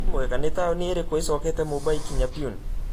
wimwega nĩ taũni irĩkũ ĩcokete mumbai kinya pune